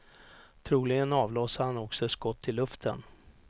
Troligen avlossade han också ett skott i luften.